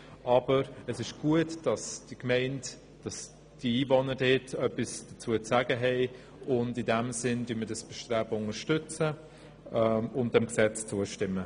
Wir unterstützen dieses Fusionsbestreben und stimmen diesem Gesetz zu.